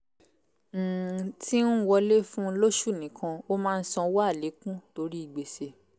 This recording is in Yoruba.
um tí ń wọlé fún lóṣù nìkan ó máa ń sanwó àlékún torí gbèsè